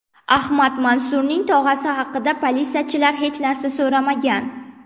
Ahmad Mansurning tog‘asi haqida politsiyachilar hech narsa so‘ramagan.